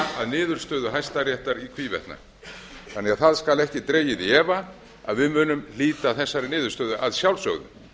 niðurstöðu hæstaréttar í hvívetna þannig að það skal ekki dregið í efa að við munum hlíta þessari niðurstöðu að sjálfsögðu